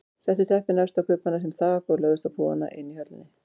Settu teppin efst á kubbana sem þak og lögðust á púðana inni í höllinni.